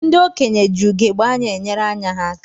Ndị okenye ji ugegbe anya enyere ányá ha aka.